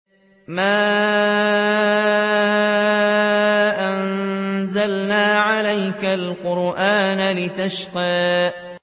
مَا أَنزَلْنَا عَلَيْكَ الْقُرْآنَ لِتَشْقَىٰ